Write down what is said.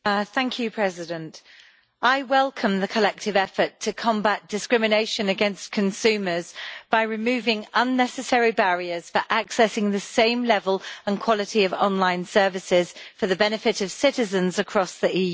Mr President, I welcome the collective effort to combat discrimination against consumers by removing unnecessary barriers for accessing the same level and quality of online services for the benefit of citizens across the EU.